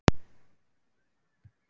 GESTURINN ÚR SELVOGI